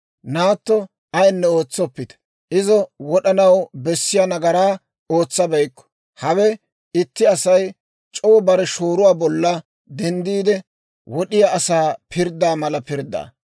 Naatto ayinne ootsoppite; izo wod'anaw bessiyaa nagaraa ootsabeykku. Hawe itti Asay c'oo bare shooruwaa bolla denddiide, wod'iyaa asaa pirddaa mala pirddaa.